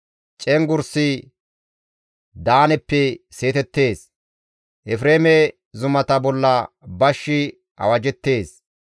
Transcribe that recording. Cenggurssi Daaneppe seetettees; Efreeme zumata bolla bashshi awajjeettes.